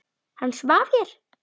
Hann svaf hér.